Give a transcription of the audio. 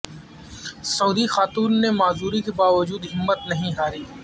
سعودی خاتون نے معذوری کے باوجود ہمت نہ ہاری